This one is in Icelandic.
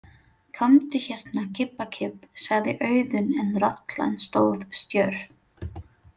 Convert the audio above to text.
Komdu hérna, kibbakibb, sagði Auðunn en rollan stóð stjörf.